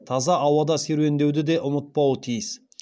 таза ауада серуендеуді де ұмытпауы тиіс